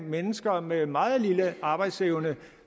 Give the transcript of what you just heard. mennesker med en meget lille arbejdsevne